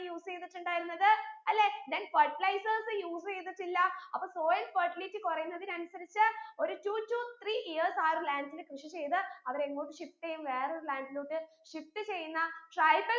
use എയ്തിട്ടുണ്ടായിരുന്നത് അല്ലെ then ferlizers use എയ്തിട്ടില്ല അപ്പൊ soil fertility കുറയുന്നതിനനുസരിച്ച് ഒരു two to three years ആ ഒരു land ൽ കൃഷി ചെയ്ത് അവരെങ്ങോട്ട് shift എയ്യും വേറെ ഒരു land ലോട്ട് shift ചെയ്യുന്ന tribal